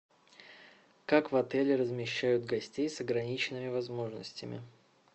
как в отеле размещают гостей с ограниченными возможностями